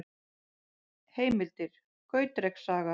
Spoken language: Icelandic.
Heimildir: Gautreks saga.